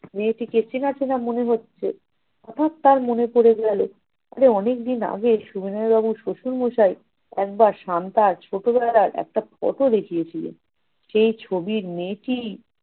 মেয়েটিকে চেনা চেনা মনে হচ্ছে, হঠাত তার মনে পড়ে গেলো তবে অনেকদিন আগে সবিনয় বাবুর শশুড় মশাই একবার শান্তার ছোটবেলার একটা photo দেখিয়েছিল। সেই ছবির মেয়েটিই-